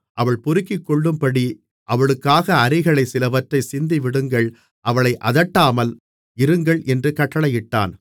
அவள் பொறுக்கிக்கொள்ளும்படி அவளுக்காக அரிகளிலே சிலவற்றைச் சிந்திவிடுங்கள் அவளை அதட்டாமல் இருங்கள் என்று கட்டளையிட்டான்